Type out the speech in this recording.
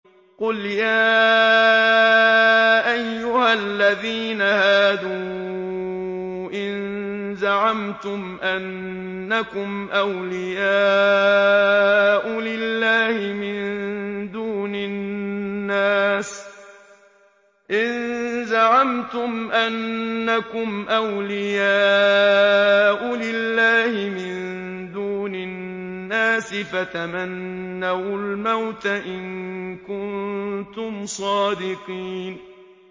قُلْ يَا أَيُّهَا الَّذِينَ هَادُوا إِن زَعَمْتُمْ أَنَّكُمْ أَوْلِيَاءُ لِلَّهِ مِن دُونِ النَّاسِ فَتَمَنَّوُا الْمَوْتَ إِن كُنتُمْ صَادِقِينَ